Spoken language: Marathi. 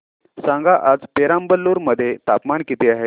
सांगा आज पेराम्बलुर मध्ये तापमान किती आहे